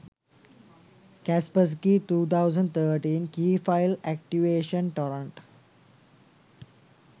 kaspersky 2013 key file activation torrent